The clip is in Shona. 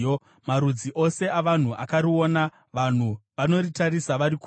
Marudzi ose avanhu akariona; vanhu vanoritarisa vari kure.